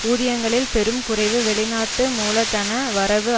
ஊதியங்களில் பெரும் குறைவு வெளிநாட்டு மூலதன வரவு